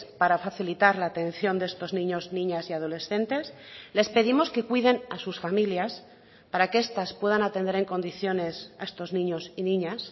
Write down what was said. para facilitar la atención de estos niños niñas y adolescentes les pedimos que cuiden a sus familias para que estas puedan atender en condiciones a estos niños y niñas